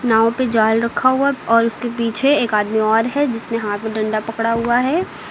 नाव पे जाल रखा हुआ और उसके पीछे एक आदमी और है जिसने हाथ में डंडा पकड़ा हुआ है।